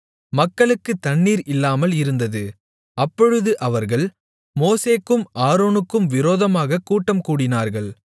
மக்களுக்குத் தண்ணீர் இல்லாமல் இருந்தது அப்பொழுது அவர்கள் மோசேக்கும் ஆரோனுக்கும் விரோதமாகக் கூட்டம்கூடினார்கள்